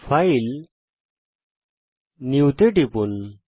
file জিটিজিটি new টিপুন